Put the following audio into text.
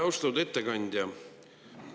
Austatud ettekandja!